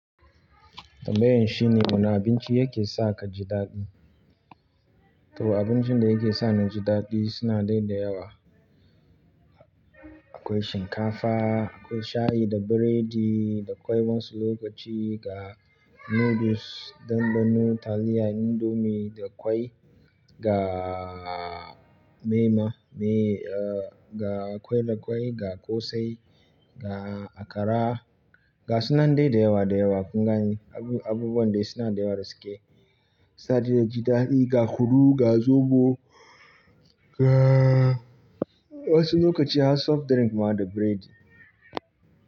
Tambayan shine muna abinci yake sa ka ji daɗi. Tuh abincin da yake sa na ji daɗi suna dai da yawa. Akwai shinkafa, akwai shayi da biredi, da akwai wasu lokaci ga noodles, dambunu, taliya, indomie, da ƙwai, ga mema, me, ah, ga ƙwai da ƙwai, ga ƙosai, ga akara, ga sunan dai da yawa da yawa. Kun gani abubuwan da suna da yawa da suke sa daidai ji daɗi ga huku, ga zobo, ga wasu lokaci har soft drink ma da biredi.